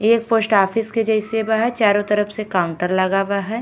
एक post office के जइसे बा हय। चारो तरफ से काउंटर लाग बा हय।